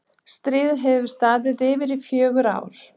stríðið hafði staðið yfir í rúm fjögur ár